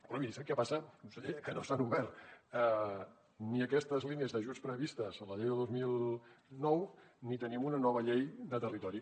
però miri sap què passa que no s’han obert ni aquestes línies d’ajuts previstes a la llei de dos mil nou ni tenim una nova llei de territori